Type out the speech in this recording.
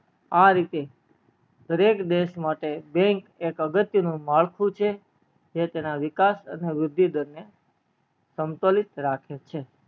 આ રીતે દરેક દેશ માટે bank એક અગત્ય નું માળખું છે જે તેના વિકાસ વૃદ્ધિ દરમિયાન સંતુલિત રાખે છે